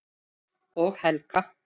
Og Helga.